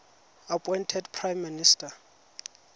appointed prime minister